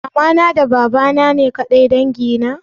Mamana da babana ne ƙadai dangi na?